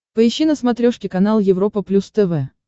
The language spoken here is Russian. поищи на смотрешке канал европа плюс тв